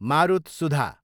मारुतसुधा